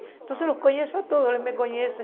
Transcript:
Então eu conheço todos, eles me conhecem.